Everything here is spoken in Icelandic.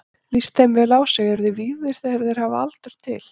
Lítist þeim vel á sig, eru þeir vígðir þegar þeir hafa aldur til.